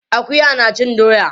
Akuya na cin doya.